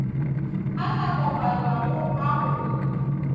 a sa kopanywago a go